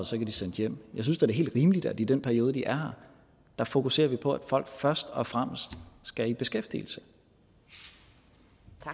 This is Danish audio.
så kan de sendes hjem jeg synes da det er helt rimeligt at i den periode de er her fokuserer vi på at folk først og fremmest skal i beskæftigelse